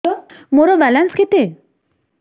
ମୋର ବାଲାନ୍ସ କେତେ